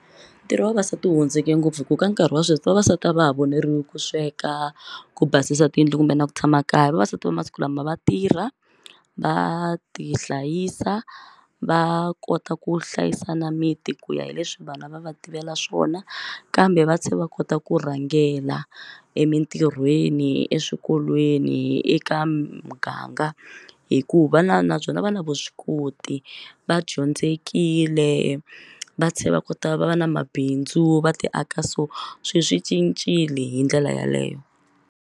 Ntirho wa vavasati wu hundzuke ngopfu hi ku ka nkarhi wa sweswi vavasati a va ha voneriwi ku sweka ku basisa tiyindlu kumbe na ku tshama kaya vavasati va masiku lama va tirha va ti hlayisa va kota ku hlayisa na miti ku ya hi leswi vanhu a va va tivela swona kambe va tlhela va kota ku rhangela emitirhweni eswikolweni eka muganga hikuva va na na byona va na vuswikoti va dyondzekile va tlhela va kota va va na mabindzu va ti aka so swilo swi cincile hi ndlela yeleyo.